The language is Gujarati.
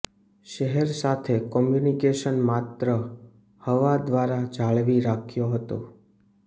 શહેર સાથે કોમ્યુનિકેશન માત્ર હવા દ્વારા જાળવી રાખ્યો હતો